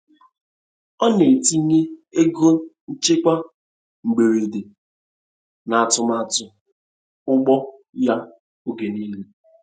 Ọ na-etinye ego nchekwa mberede, n’atụmatụ ugbo ya oge niile.